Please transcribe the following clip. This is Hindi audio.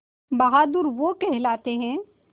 बहादुर वो कहलाते हैं